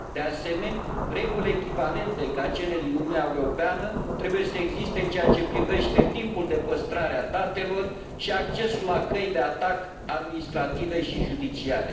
De asemenea, reguli echivalente ca cele din Uniunea Europeană trebuie să existe în ceea ce privește timpul de păstrare a datelor și accesul la căi de atac administrative și judiciare.